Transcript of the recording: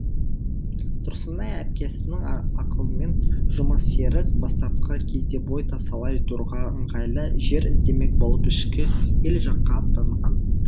тұрсынай әпкесінің ақылымен жұмасерік бастапқы кезде бой тасалай тұруға ыңғайлы жер іздемек болып ішкі ел жаққа аттанған